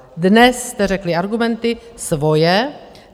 Dnes jste řekli argumenty - svoje.